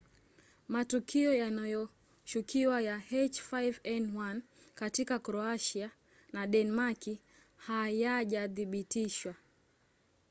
matukio yanayoshukiwa ya h5n1 katika kroatia na denmaki hayajathibitishwa